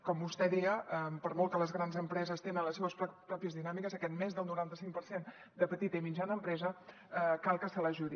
com vostè deia per molt que les grans empreses tinguin les seves pròpies dinàmiques a aquest més del noranta cinc per cent de petita i mitjana empresa cal que se l’ajudi